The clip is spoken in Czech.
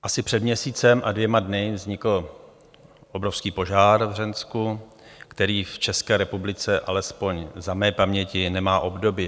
Asi před měsícem a dvěma dny vznikl obrovský požár v Hřensku, který v České republice alespoň za mé paměti nemá obdoby.